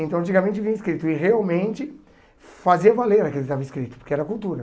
Então antigamente vinha escrito e realmente fazia valer aquilo que estava escrito, porque era cultura.